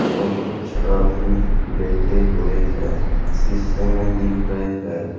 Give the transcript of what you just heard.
और कुछ आदमी बैठे हुए है शीशे में दिख रहे है।